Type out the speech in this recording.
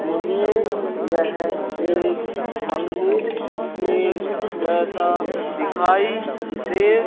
मुझे यह एक मंदिर के जैसा दिखाई दे--